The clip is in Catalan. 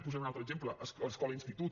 posaré un altre exemple escola institut